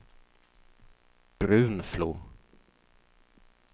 Brunflo